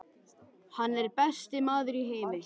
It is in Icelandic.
Hann er besti maður í heimi.